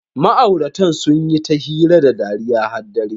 Ma'auratan sun yi ta hira da dariya har dare.